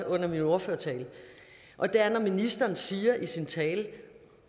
under min ordførertale og det er ministeren siger i sin tale